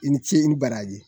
I ni ce i ni baraji